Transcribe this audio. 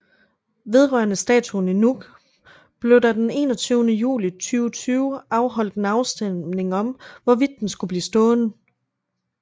Vedrørende statuen i Nuuk blev der den 21 juli 2020 afholdt en afstemning om hvorvidt den skulle blive stående